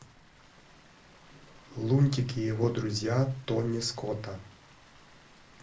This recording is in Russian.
лунтик и его друзья тони скотта